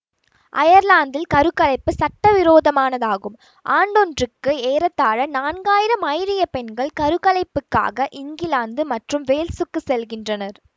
அயர்லாந்தில் கரு கலைப்பு சட்டவிரோதமானதாகும் ஆண்டொன்றுக்கு ஏறத்தாழ நான்காயிரம் ஐரியப் பெண்கள் கருக்கலைப்புக்காக இங்கிலாந்து மற்றும் வேல்சுக்குச் செல்கின்றனர்